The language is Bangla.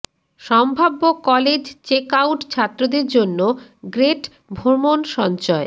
সম্ভাব্য কলেজ চেক আউট ছাত্রদের জন্য গ্রেট ভ্রমণ সঞ্চয়